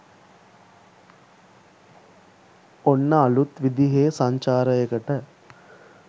ඔන්න අළුත් විදිහේ සංචාරයකට